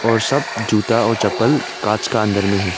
और सब जूता और चप्पल कांच का अंदर में है।